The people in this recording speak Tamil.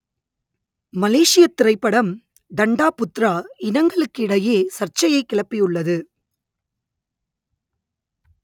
மலேசியத் திரைப்படம் டண்டா புத்ரா இனங்களுக்கிடையே சர்ச்சையைக் கிளப்பியுள்ளது